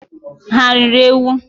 Ha riri ewu?